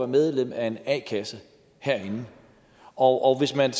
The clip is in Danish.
medlem af en a kasse herinde og hvis man